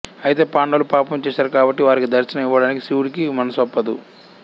అయితే పాండవులు పాపం చేశారు కాబట్టి వారికి దర్శనం ఇవ్వడానికి శివుడికి మనసొప్పదు